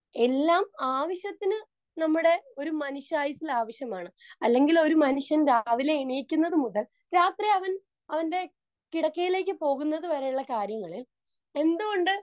Speaker 2 എല്ലാം ആവശ്യത്തിന് നമ്മുടെ ഒരു മനുഷ്യായുസ്സിൽ ആവശ്യമാണ്. അല്ലെങ്കിൽ ഒരു മനുഷ്യൻ രാവിലെ എണീക്കുന്നതുമുതൽ രാത്രി അവൻ അവന്റെ കിടക്കയിലേക്ക് പോകുന്നതുവരെയുള്ള കാര്യങ്ങളിൽ എന്തുകൊണ്ട്